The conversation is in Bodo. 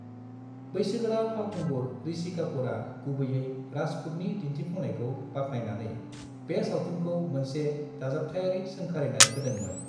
बैसोगोरा फावखुंगुर ऋषि कापूरआ गुबैये राजपूतनि दिन्थिफुंनायखौ बाख्नायनानै बे सावथुनखौ मोनसे दाजाबथायारि सोंखारिनाय होदोंमोन।